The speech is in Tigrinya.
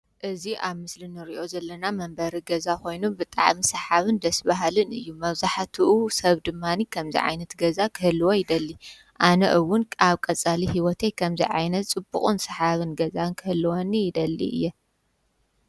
እዝ ኣብ ምስሊ ንርእዮ ዘለና መንበሪ ገዛ ኾይኑ ብጥዕ ሚ ሰሓብን ደስቢሃልን እዩ መዙሐትኡ ሰብ ድማኒ ከምዝይ ዓይነት ገዛ ክህልዎ ይደሊ ኣነእውን ኣብ ቀጸሊ ሕይወተይ ኸምዘይ ዓይነት ጽቡቕን ሰሓብን ገዛን ክህልወኒ ይደሊ እየ::